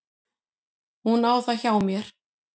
Hún á það hjá mér.